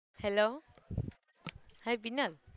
hello hii Binal.